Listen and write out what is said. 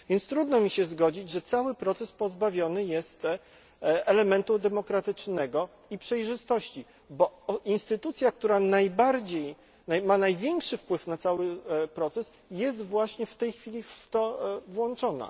Trudno mi się więc zgodzić, że cały proces pozbawiony jest elementu demokratycznego i przejrzystości, bo instytucja, która ma największy wpływ na cały proces jest właśnie w tej chwili w to włączona.